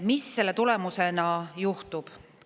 Mis selle tulemusena juhtub?